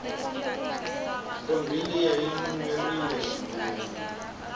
ntombi liya yinuwerile swinene